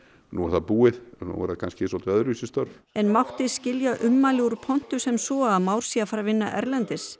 nú er það búið nú verða það kannski svolítið öðruvísi störf en mátti skilja ummæli úr pontu sem svo að Már sé að fara að vinna erlendis